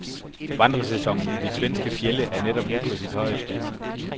Vandrersæsonen i de svenske fjelde er netop nu på sit højeste.